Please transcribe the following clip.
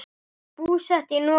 Búsett í Noregi.